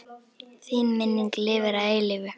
Þín minning lifir að eilífu.